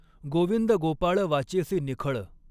गॊविंद गॊपाळ वाचॆसी निखळ.